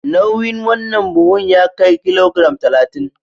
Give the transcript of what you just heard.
Nauyin wannan buhun ya kai kilogiram talatin.